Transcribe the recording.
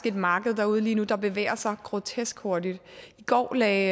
et marked derude lige nu der bevæger sig grotesk hurtigt i går lagde